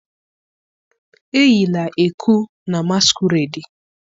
eyila ẹku na masquerade!